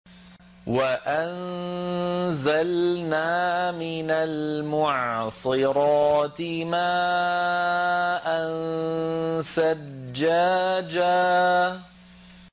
وَأَنزَلْنَا مِنَ الْمُعْصِرَاتِ مَاءً ثَجَّاجًا